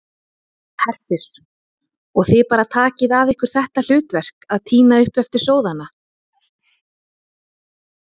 Hersir: Og þið bara takið að ykkur þetta hlutverk að tína upp eftir sóðana?